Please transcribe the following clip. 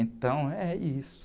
Então, é isso.